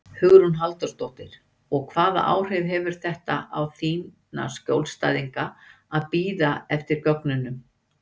Hugrún Halldórsdóttir: Og hvaða áhrif hefur þetta á þína skjólstæðinga að bíða eftir gögnunum?